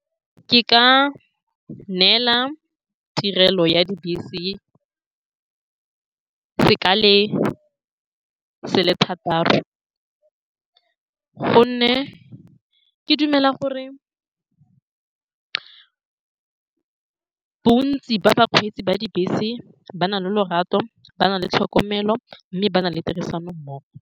Ke ka neela tirelo ya dibese sekale se le thataro, ka gonne ke dumela gore bontsi ba bakgweetsi ba dibese ba na le lorato, ba na le tlhokomelo, mme ba na le tirisano mmogo.